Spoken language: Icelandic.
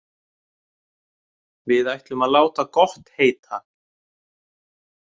Við ætlum að láta gott heita.